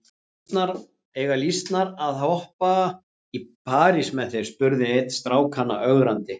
Eiga lýsnar að hoppa í parís með þér? spurði einn strákanna ögrandi.